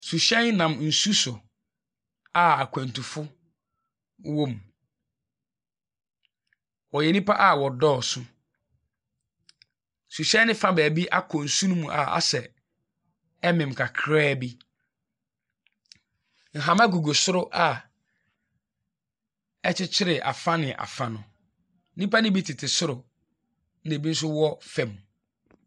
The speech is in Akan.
Suhyɛn nam nsu so, a akwantufo wɔ mu. Wɔyɛ nnipa a wɔdɔɔso. Suhyɛn no fa baabi akɔ nsu no mu a ayɛ sɛ ɛremem kakraa bi. Nhama gugu soro a akyeyere afa ne afa no. nnipa no bi tete soro, ɛna ebi nso wɔ fam.